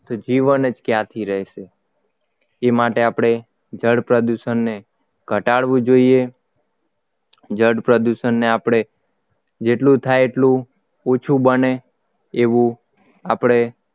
તો જીવન જ ક્યાંથી રહેશે તે માટે આપણે જળ પ્રદૂષણને ઘટાડવું જોઈએ જળ પ્રદૂષણ ને આપણે જેટલું થાય એટલું ઓછું બને એવું આપણે